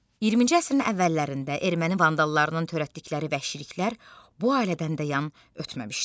20-ci əsrin əvvəllərində erməni vandallarının törətdikləri vəhşiliklər bu ailədən də yan ötməmişdi.